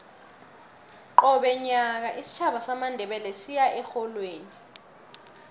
qobe nyaka isitjhaba samandebele siya erholweni